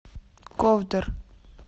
ковдор